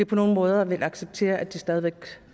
på nogen måder vil acceptere stadig væk